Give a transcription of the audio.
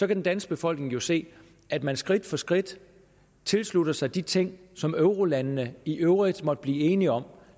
den danske befolkning jo se at man skridt for skridt tilslutter sig de ting som eurolandene i øvrigt måtte blive enige om